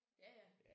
Ja ja